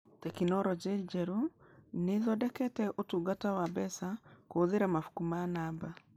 Tekinoronjĩ njerũ nĩ ĩthondekete ũtungata wa mbeca kũhũthĩra mabuku ma naba